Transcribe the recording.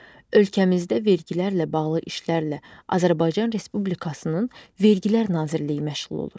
Ölkəmizdə vergilərlə bağlı işlərlə Azərbaycan Respublikasının Vergilər Nazirliyi məşğul olur.